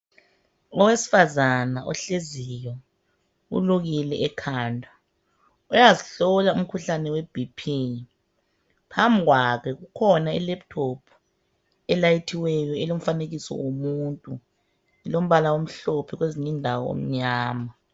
Awesifazana ohleziyo ulukile ekhanda uyazihlola umkhuhlane weBP phambi kwakhe ikhona ilaptop elayithiweyo elomfanekiso womuntu ilombala omhlophe lombala omnyama